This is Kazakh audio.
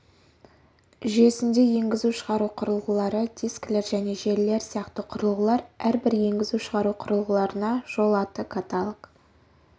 жүйесінде енгізу-шығару құрылғылары дискілер және желілер сияқты құрылғылар әрбір енгізу-шығару құрылғыларына жол аты каталог